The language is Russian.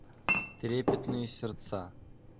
трепетные сердца